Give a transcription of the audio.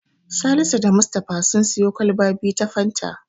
Salisu da Mustapha sun siyo kwalba biyu ta Fanta.